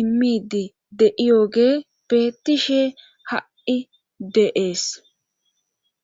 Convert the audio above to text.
imidi de7iyoge bettishe ha7i de,es